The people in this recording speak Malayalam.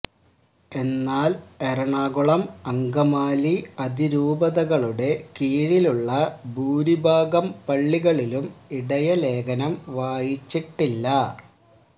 എന്നാൽ എറണാകുളം അങ്കമാലി അതിരൂപതകളുടെ കീഴിലുള്ള ഭൂരിഭാഗം പള്ളികളിലും ഇടയലേഖനം വായിച്ചിട്ടില്ല